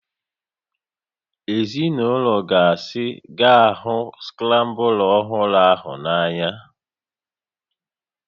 Ezinaụlọ gasị ga-ahụ skrambla ọhụrụ ahụ n'anya